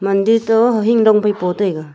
mandir toh hahing dong phai po taiga.